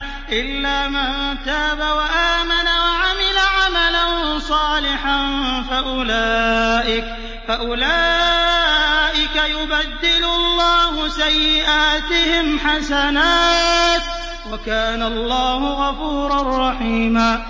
إِلَّا مَن تَابَ وَآمَنَ وَعَمِلَ عَمَلًا صَالِحًا فَأُولَٰئِكَ يُبَدِّلُ اللَّهُ سَيِّئَاتِهِمْ حَسَنَاتٍ ۗ وَكَانَ اللَّهُ غَفُورًا رَّحِيمًا